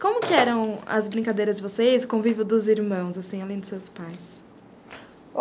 Como que eram as brincadeiras de vocês, convívio dos irmãos, assim, além dos seus pais?